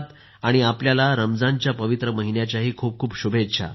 आणि आपल्याला रमजानच्या पवित्र महिन्याच्या खूप खूप शुभेच्छा